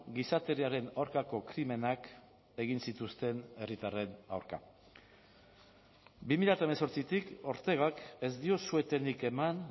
gizateriaren aurkako krimenak egin zituzten herritarren aurka bi mila hemezortzitik ortegak ez dio su etenik eman